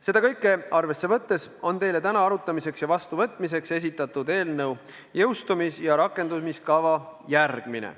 Seda kõike arvesse võttes on teile täna arutamiseks ja vastuvõtmiseks esitatud eelnõu jõustumis- ja rakendumiskava järgmine.